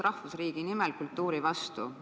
Rahvusriigi nimel kultuuri vastu".